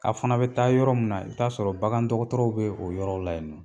A' fana bɛ taa yɔrɔ min na i bɛ ta'a sɔrɔ bagan dɔgɔtɔrɔw bɛ o yɔrɔ la yen nɔ